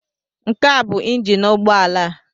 Nke a bụ ịnjin ụgbọala a.